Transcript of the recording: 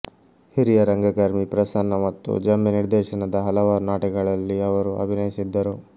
ಹಿರಿಯ ರಂಗಕರ್ಮಿ ಪ್ರಸನ್ನ ಮತ್ತು ಜಂಬೆ ನಿರ್ದೇಶನದ ಹಲವಾರು ನಾಟಕಗಳಲ್ಲಿ ಅವರು ಅಭಿನಯಿಸಿದ್ದರು